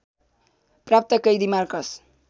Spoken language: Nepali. प्राप्त कैदी मार्कस